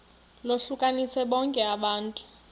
lohlukanise bonke abantu